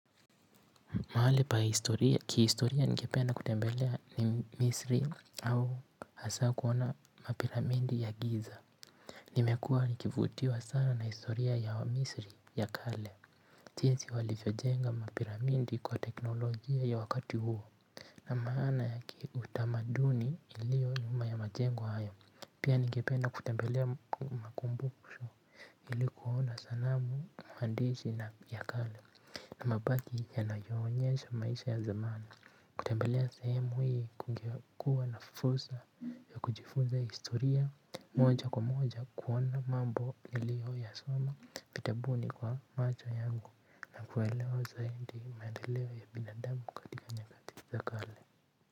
Mahali pa historia, ki historia ningependa kutembelea ni misri au hasa kuona mapiramidi ya giza. Nimekua nikivutiwa sana na historia ya misri ya kale. Jinsi walivyojenga mapiramidi kwa teknolojia ya wakati huo na maana ya ki utamaduni ilio nyuma ya majengo hayo. Pia ningependa kutembelea makumbusho ili kuona sanamu mhandisi ya kale na mabaki yanayoonyesha maisha ya zamani. Kutembelea sehemu hii kunge kuwa nafursa ya kujifuza historia moja kwa moja kuona mambo niliyoyasoma vitabuni kwa macho yangu na kuelewa zaidi maendeleo ya binadamu katika nyakati za kale.